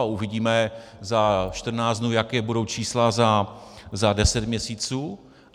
A uvidíme za 14 dnů, jaká budou čísla za deset měsíců.